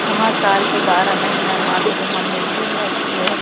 वहां साल के बारह महीना मां के धाम में भीड़ रहती है।